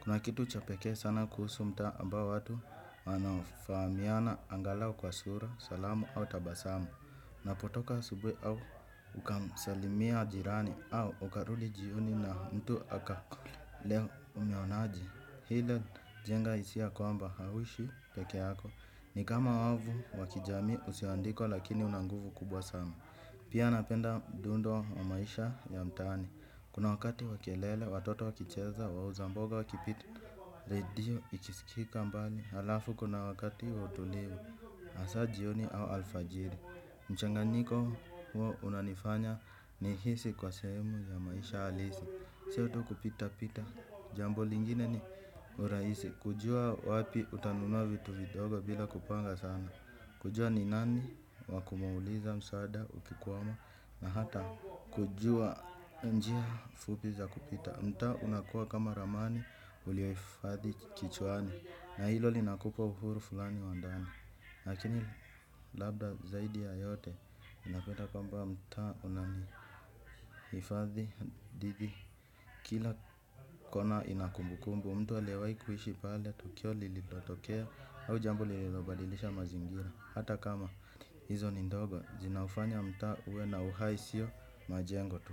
Kuna kitu cha pekee sana kuhusu mtaa ambao watu wanafahamiana angalau kwa sura, salamu au tabasamu. Napotoka asubuhi au ukamsalimia jirani au ukarudi jioni na mtu akakule. Leo umeonaje hila jenga hisia kwamba hauishi pekee yako ni kama wavu wa kijamii usioandikwa lakini una nguvu kubwa sana pia napenda mdundo wa maisha ya mtaani kuna wakati wa kelele watoto wakicheza wauza mboga wakipita redio ikisikika mbali halafu kuna wakati wautilivu hasa jioni au alfajiri. Mchanganiko huo unanifanya ni hisi kuwa sehemu ya maisha halisi sio tu kupita pita. Jambo lingine ni urahisi kujuwa wapi utanunuwa vitu vidogo bila kupanga sana kujua ni nani wakumuuliza msada ukikwama na hata kujua njia fupi za kupita mtaa unakua kama ramani uliohifadhi kichwani na hilo linakupa uhuru fulani wa ndani lakini labda zaidi ya yote ninapenda kamba mtaa unanihifadhi. Kila kona ina kumbukumbu mtu aliyewahi kuishi pale tukio lilipotokea au jambo lililobalilisha mazingira hata kama hizo ni ndogo zinaufanya mtaa uwe na uhai sio majengo tu.